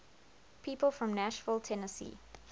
people from nashville tennessee